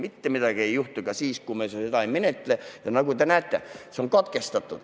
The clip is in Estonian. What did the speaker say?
Mitte midagi ei juhtu ka siis, kui me seda ei menetle.